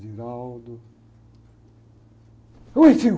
Oi, tio!